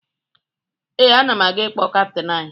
Ee, ana m aga ịkpọ kaptịn anyị